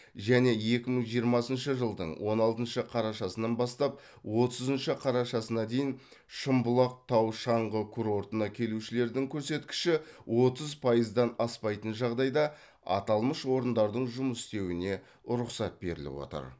және екі мың жиырмасыншы жылдың он алтыншы қарашасынан бастап отызыншы қарашасына дейін шымбұлақ тау шаңғы курортына келушілердің көрсеткіші отыз пайыздан аспайтын жағдайда аталмыш орындардың жұмыс істеуіне рұқсат беріліп отыр